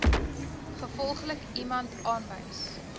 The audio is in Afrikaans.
gevolglik iemand aanwys